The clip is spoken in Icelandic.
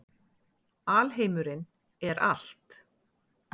Alheimurinn er allt.